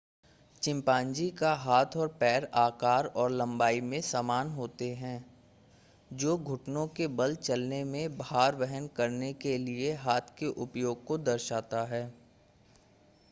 chimpanzee का हाथ और पैर आकार और लंबाई में समान होते हैं जो घुटनों के बल चलने में भार वहन करने के लिए हाथ के उपयोग को दर्शाता है